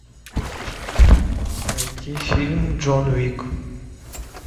найти фильм джон уик